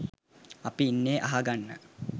අපි ඉන්නෙ අහ ගන්න